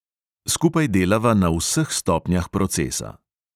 Skupaj delava na vseh stopnjah procesa.